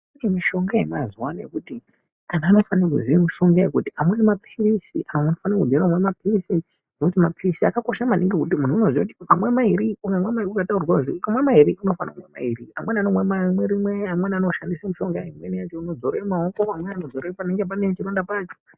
Kune mishonga yemazuwa ano yekuti antu anofanira kuziya mishonga iyoyo kuti amweni mapirisi. Unofana kuziya mapirisi. Ngekuti mapirisi akakosha maningi. Muntu unoziya kuti ukamwa mairi, ukamwa mairi ukataurirwa kuzi imwa mairi unofanira kumwa mairi. Amweni anomwa rimwe, amweni anoshandisa mushonga. Amweni anodzora mumaoko, imweni unodzora pane chironda pacho.